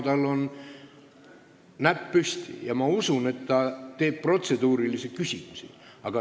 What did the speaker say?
Tal on näpp püsti ja ma usun, et ta esitab protseduurilise küsimuse.